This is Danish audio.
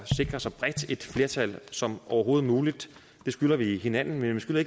sikre så bredt et flertal som overhovedet muligt det skylder vi hinanden men vi skylder